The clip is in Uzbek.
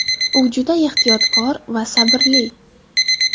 U juda ehtiyotkor va sabrli.